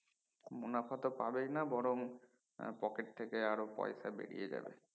মুনাফা তো পাবেই না বরং পকেট থেকে আরো পয়সা বেরিয়ে যাবে